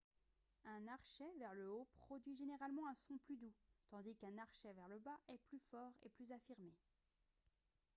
un archet vers le haut produit généralement un son plus doux tandis qu'un archet vers le bas est plus fort et plus affirmé